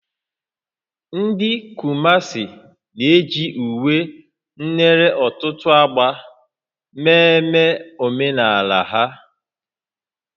Ndị Kumasi na-eji uwe nere ọtụtụ ágbá mmemme omenala ha